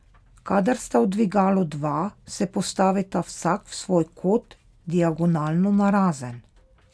Kadar sta v dvigalu dva, se postavita vsak v svoj kot, diagonalno narazen.